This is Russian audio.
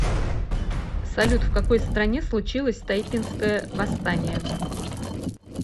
салют в какой стране случилось тайпинское восстание